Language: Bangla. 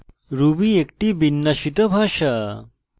ruby একটি বিন্যাসিত ভাষা